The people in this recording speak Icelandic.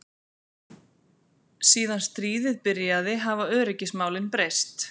Síðan stríðið byrjaði hafa öryggismálin breyst.